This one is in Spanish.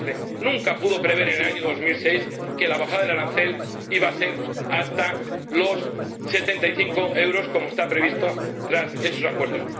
114. Nunca pudo prever, en el año 2006, que la bajada del arancel iba a ser hasta los 75 euros, como está previsto tras esos acuerdos.